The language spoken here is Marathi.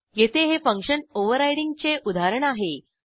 येथे हे फंक्शन ओव्हररायडिंगचे उदाहरण आहे